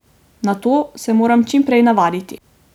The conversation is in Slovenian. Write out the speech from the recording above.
Na to se moram čim prej navaditi.